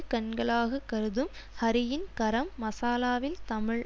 கண்களாக கருதும் ஹரியின் கரம் மசாலாவில் தமிழ்